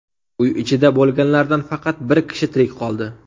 Uy ichida bo‘lganlardan faqat bir kishi tirik qoldi.